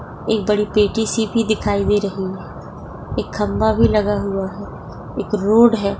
एक बड़ी पेटी सी भी दिखाई दे रही है एक खंबा भी लगा हुआ है एक रोड है।